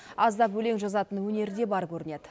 аздап өлең жазатын өнері де бар көрінеді